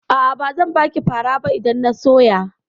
A'a, bazan baki fara ba idan na soya.